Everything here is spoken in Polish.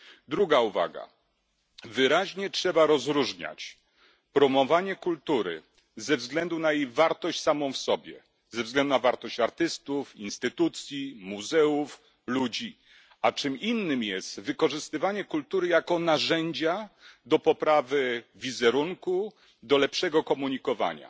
Druga uwaga wyraźnie trzeba rozróżniać promowanie kultury ze względu na jej wartość samą w sobie, ze względu na wartość artystów, instytucji, muzeów, ludzi, a czym innym jest wykorzystywanie kultury jako narzędzia do poprawy wizerunku, do lepszego komunikowania.